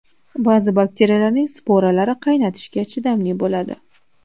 Ba’zi bakteriyalarning sporalari qaynatishga chidamli bo‘ladi.